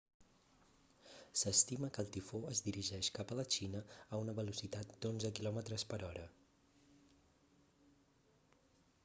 s'estima que el tifó es dirigeix cap a la xina a una velocitat d'onze km/h